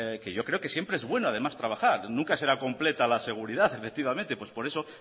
yo creo que siempre es bueno además trabajar nunca será completa la seguridad efectivamente pues por eso